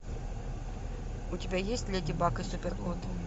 у тебя есть леди баг и супер кот